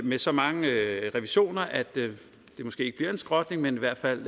med så mange revisioner at det måske ikke bliver en skrotning men i hvert fald